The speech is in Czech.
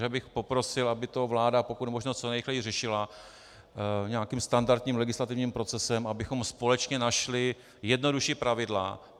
Takže bych poprosil, aby to vláda pokud možno co nejrychleji řešila nějakým standardním legislativním procesem, abychom společně našli jednodušší pravidla.